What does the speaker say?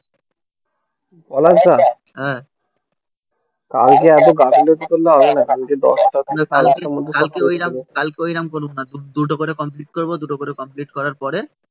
পলাশ দা হ্যাঁ কালকে এত গাফিলতি করলে হবে না কালকে দশটার দিনে কালকের মধ্যে কালকে ওই রকম করুক না দুটো করে কমপ্লিট করবো দুটো করে কমপ্লিট করার পরে